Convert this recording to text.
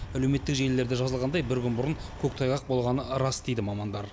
әлеуметтік желілерде жазылғандай бір күн бұрын көктайғақ болғаны рас дейді мамандар